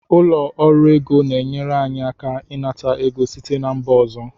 Ụlọ ọrụ ego na-enyere anyị aka ịnata ego site na mba ọzọ